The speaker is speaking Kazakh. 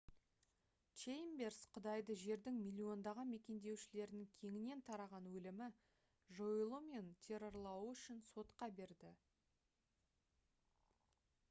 чеймберс құдайды «жердің миллиондаған мекендеушілерінің кеңінен тараған өлімі жойылуы және террорлауы үшін» сотқа берді